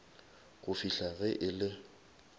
go fihla ge e le